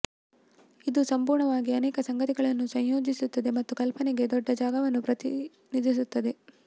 ಇದು ಸಂಪೂರ್ಣವಾಗಿ ಅನೇಕ ಸಂಗತಿಗಳನ್ನು ಸಂಯೋಜಿಸುತ್ತದೆ ಮತ್ತು ಕಲ್ಪನೆಗೆ ದೊಡ್ಡ ಜಾಗವನ್ನು ಪ್ರತಿನಿಧಿಸುತ್ತದೆ